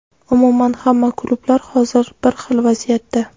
Umuman, hamma klublar hozir bir xil vaziyatda”.